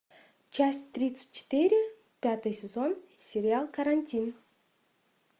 часть тридцать четыре пятый сезон сериал карантин